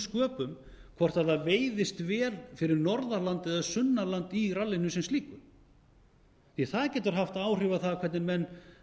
sköpum hvort það veiðist vel fyrir norðan land eða sunnan land í rallinu sem slíku því að það getur haft áhrif á það hvernig menn